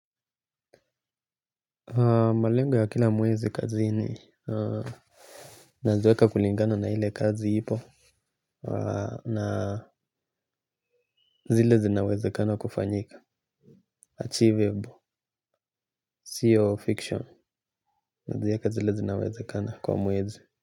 Malengo ya kila mwezi kazini, naziweka kulingana na ile kazi hipo. Na zile zinawezekana kufanyika, achievable, seal of fiction, naziweka zile zinawezekana kwa mwezi.